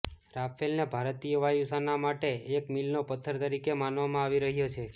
રાફેલને ભારતીય વાયુસાના માટે એક મીલનો પથ્થર તરીકે માનવામાં આવી રહ્યો છે